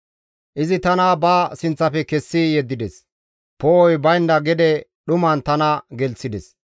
Izi tana ba sinththafe kessi yeddides; poo7oy baynda gede dhuman tana gelththides.